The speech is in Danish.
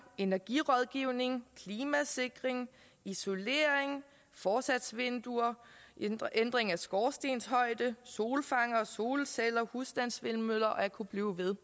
energirådgivning klimasikring isolering forsatsvinduer ændring af skorstenshøjde solfangere og solceller husstandsvindmøller og jeg kunne blive ved